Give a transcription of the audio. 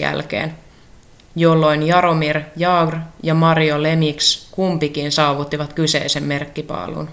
jälkeen jolloin jaromir jagr ja mario lemieux kumpikin saavuttivat kyseisen merkkipaalun